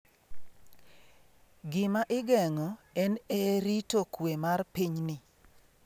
Gima igeng’o en e rito kue mar pinyni.